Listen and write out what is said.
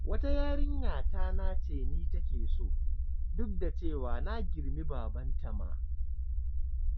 Wata yarinya ta nace ni take so, duk da cewa na girmi babanta ma.